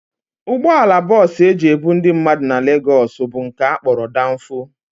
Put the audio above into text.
Ụgbọala bọs e ji ebu ndị mmadụ na Legos bụ nke a kpọrọ Danfo